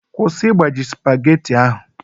Kwụsị igbaji spageti ahụ!